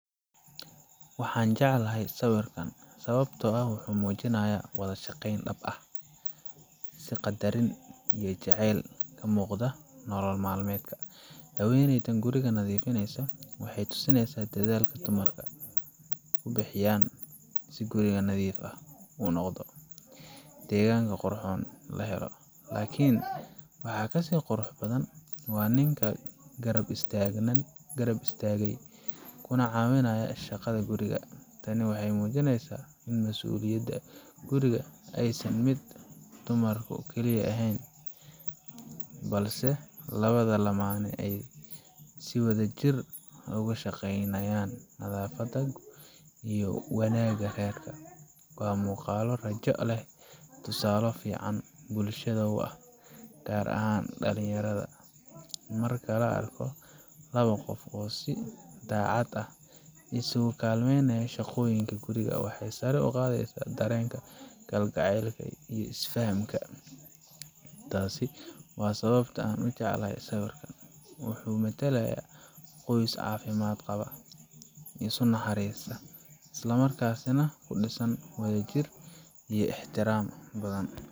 Waxan jeclahay sawirkan wuxu tusinaya shaqo dab ah ,haweneydan guriga nadifineso waxey tusinesa dadhalka dumarka ku bihiyan si guriga nadif u noqdo. Deganka qurxon lahelo, lakin waxa kasii qurxon waa ninka garab istagay kuna cawinaya shaqada guriga ,tani waxey mujineysa ini masuliyada guriga ini shaqo dumar kaliya ehen, balse lawada lamane si wadajir uga shaqeynayan nadafada iyo wanaga rerka. Waa muqalo rajo leh oo tusale fican bulshada u ah gaar ahan dhalinyarada marki laa arko oo si dacad nimo quriga iskugu kalmeynaay, waxey sare un qadeysa kalgacelka guriga iyo isfahamka guriga, tasi waa sababtaa an ujeclahay sawirkan, wuxu matalaya qoys cafimad qawa ,isku naxarista oo isla markasna ku dhisan wadajir iyo ixtiraam badan.